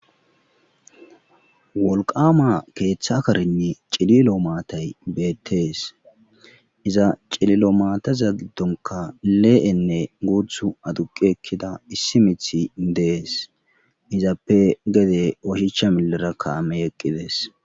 Wolqama keeththa karinne cililo maatay beettees iza cililo maateza giddonka le'enne guuthu aduqi ekkida issi mithi dees izappe gede ohicha millera kaame eqqides.